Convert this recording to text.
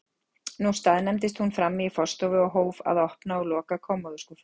Nú staðnæmdist hún frammi í forstofu og hóf að opna og loka kommóðuskúffum.